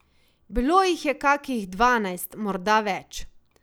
Bilo jih je kakih dvanajst, morda več.